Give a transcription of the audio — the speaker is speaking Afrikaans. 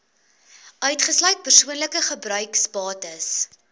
uitgesluit persoonlike gebruiksbates